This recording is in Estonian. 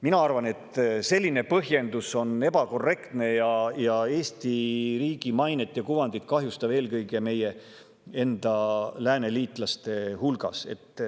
Mina arvan, et selline põhjendus on ebakorrektne ning Eesti riigi mainet ja kuvandit kahjustav, eelkõige meie enda lääneliitlaste hulgas.